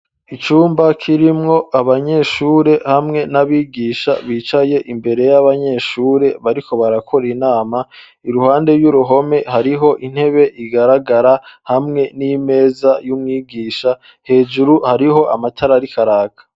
Icumba kirimwo abanyeshure hamwe n'abigisha bicaye imbere y'abanyeshure bariko barakora inama iruhande y'uruhome hariho intebe igaragara hamwe n'imeza yumwigisha hejuru hariho amatara ariko araka.